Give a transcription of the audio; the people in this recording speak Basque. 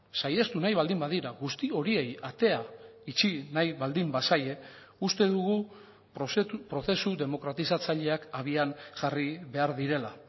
saihestu nahi baldin badira guzti horiei atea itxi nahi baldin bazaie uste dugu prozesu demokratizatzaileak abian jarri behar direla